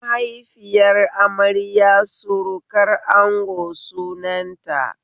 Mahaifiyar amarya surukar ango sunan ta